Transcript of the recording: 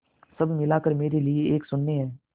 सब मिलाकर मेरे लिए एक शून्य है